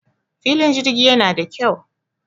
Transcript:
filin jirgi yana da kyau